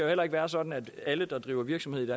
heller ikke være sådan at alle der driver virksomhed